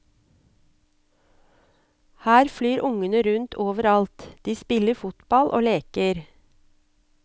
Her flyr ungene rundt over alt, de spiller fotball og leker.